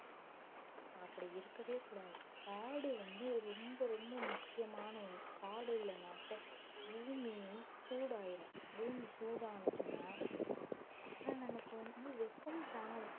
அப்படி இருக்கவே கூடாது காடு வந்து ரொம்ப ரொம்ப முக்கியமான ஒண்ணு காடு இல்லைன்னாக்க பூமியும் சூடாயிரும் பூமி சூடானுச்சுன்னா அப்புறம் நமக்கு வந்து வெப்பம் தாங்கணும்